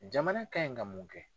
Jamana kan ɲi ka mun kɛ?